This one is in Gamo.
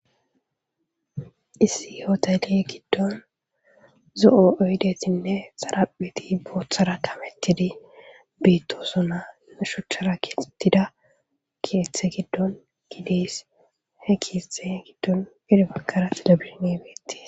Issi hotele gidon zo'o oyidetine xarapheti bothara kametidi betosona lo suchara kexetida keeththa gidon des he keeththa gidon heni bagara telebishine betes.